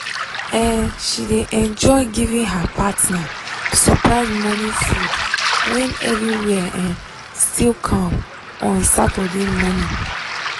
um she dey enjoy giving her partner surprise morning food when everywhere um still calm on saturday morning.